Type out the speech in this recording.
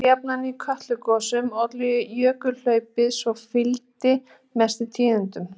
eins og jafnan í kötlugosum olli jökulhlaupið sem fylgdi mestum tíðindum